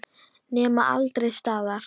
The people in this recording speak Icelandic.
Nema aldrei staðar.